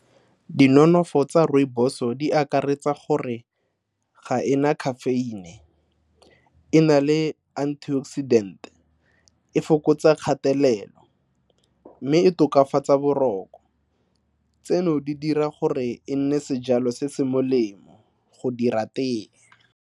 Dinonofo tsa rooibos-o di akaretsa gore ga ena caffeine-e, e na le antioxidant-e, e fokotsa kgatelelo mme e tokafatsa boroko. Tseno di dira gore e nne sejalo se se molemo go dira tee.